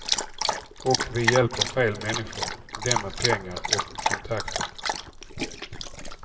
Och vi hjälper fel människor, dem med pengar och kontakter.